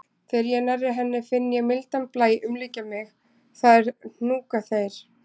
Þegar ég er nærri henni finn ég mildan blæ umlykja mig, það er hnúkaþeyr.